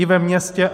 I ve městě.